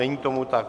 Není tomu tak.